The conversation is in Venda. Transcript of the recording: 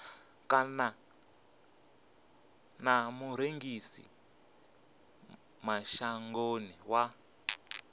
kana na murengisi mashangoni wa